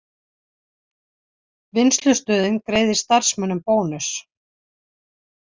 Vinnslustöðin greiðir starfsmönnum bónus